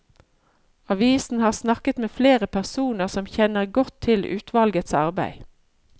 Avisen har snakket med flere personer som kjenner godt til utvalgets arbeid.